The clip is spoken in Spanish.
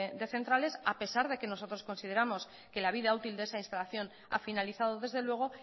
de centrales a pesar de que nosotros consideramos que la vida útil de esa instalación a finalizado desde luego